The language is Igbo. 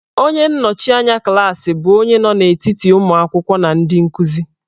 Onye nnọchianya klaasị bụ onye nọ n'etiti ụmụ akwụkwọ na ndị nkuzi.